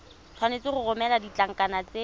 tshwanetse go romela ditlankana tse